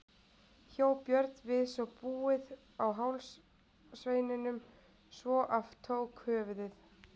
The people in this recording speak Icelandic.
Hjó Björn við svo búið á háls sveininum svo af tók höfuðið.